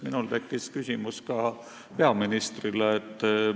Minul tekkis küsimus ka peaministrile.